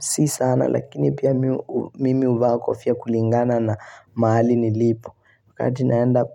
Si sana lakini pia mimi huvaa kofia kulingana na mahali nilipo. Wakati naenda